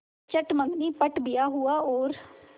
चट मँगनी पट ब्याह हुआ और